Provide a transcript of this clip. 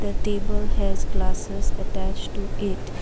the table has glasses attached to it .]